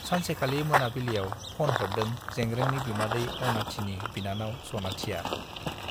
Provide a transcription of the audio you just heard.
सानसेखालि मोनाबिलियाव फ'न हरदों जेंग्रेंनि बिमादै अनाथिनि बिनानाव सनाथिया।